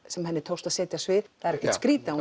sem henni tókst að setja á svið það er ekkert skrítið að